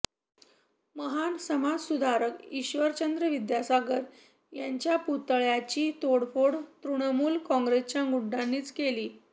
महान समाजसुधारक ईश्वरचंद्र विद्यासागर यांच्या पुतळ्याची तोडफोड तृणमूल काँग्रेसच्या गुंडांनीच केली